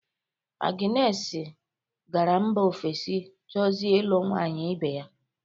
Aginesi gara mba ofesi chọzie ịlụ nwaanyị ibe ya.